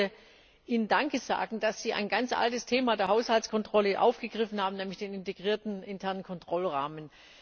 Ich wollte Ihnen danke sagen, dass sie ein ganz altes Thema der Haushaltskontrolle aufgegriffen haben, nämlich den integrierten internen Kontrollrahmen.